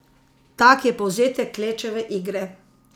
Tak je povzetek Klečeve igre.